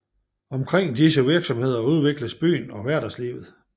Omkring disse virksomheder udvikles byen og hverdagslivet